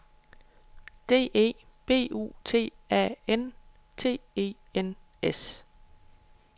D E B U T A N T E N S